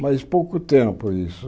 Mas pouco tempo isso.